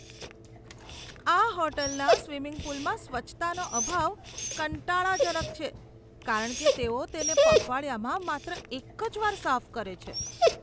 આ હોટલના સ્વિમિંગ પૂલમાં સ્વચ્છતાનો અભાવ કંટાળાજનક છે, કારણ કે તેઓ તેને પખવાડિયામાં માત્ર એક જ વાર સાફ કરે છે.